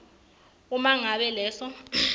uma ngabe leso